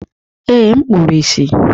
Ee, m kpuru ìsì.